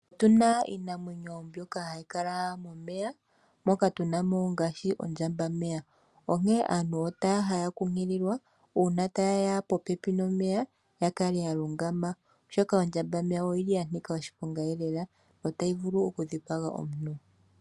Otuna iinamwenyo mbyoka hayi kala momeya moka tuna mo ngaashi Ondjambameya onkene aantu otaya kunkililwa uuna tayeya popepi nomeya yakale yalungama oshoka Ondjambameya oyili yanika oshiponga lela , otayi vulu okudhipaga omuntu.